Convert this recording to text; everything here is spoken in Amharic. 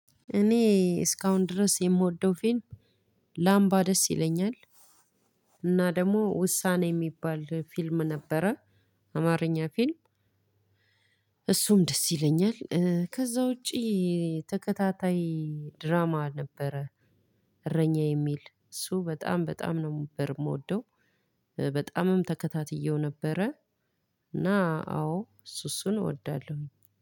እኔ እስካሁን ድረስ የምወደው ፊልም ላምባ ደስ ይለኛል። እና ደግሞ ውሳኔ የሚባል ፊልም ነበረ። አማርኛ ፊልም። እሱም ደስ ይለኛል ከዛ ውጪ። ተከታታይ ድራማ ነበረ። እረኛዬ የሚል እሱ በጣም በጣም ነበር የምወደው። በጣምም ተከታትዬው ነበረ። እና አዎ እሱ እሱን እወዳለሁኝ